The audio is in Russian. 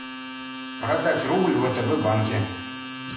продать рубль в втб банке